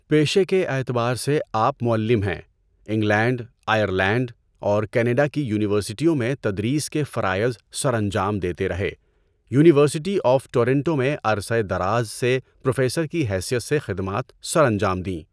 پیشے کے اعتبار سے آپ معلم ہیں۔ انگلینڈ، آئرلینڈ اور کینیڈا کی یونیورسٹیوں میں تدریس کے فرائض سر انجام دیتے رہے۔ یونیورسٹی آف ٹورنٹو میں عرصہ دراز سے پروفیسر کی حیثیت سے خدمات سر انجام دیں۔